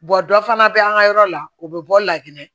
dɔ fana bɛ an ka yɔrɔ la o bɛ bɔ lakinɛ